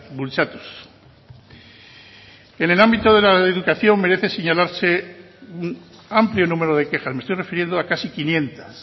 bultzatuz en el ámbito de la educación merece señalarse el amplio número de quejas me estoy refiriendo a casi quinientos